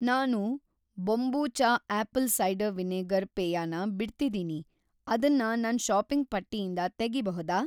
ನಾನು kombucha apple cider vinegar ಪೇಯ ನ ಬಿಡ್ತಿದೀನಿ, ಅದನ್ನ‌ ನನ್‌ ಷಾಪಿಂಗ್‌ ಪಟ್ಟಿಯಿಂದ ತೆಗಿಬಹುದಾ?